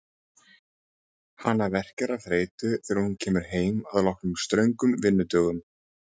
Hana verkjar af þreytu þegar hún kemur heim að loknum ströngum vinnudögum.